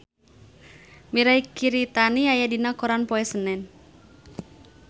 Mirei Kiritani aya dina koran poe Senen